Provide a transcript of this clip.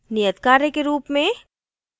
नियतकार्य के रूप में